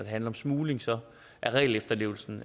handler om smugling så er regelefterlevelsen